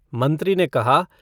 मंत्री ने कहा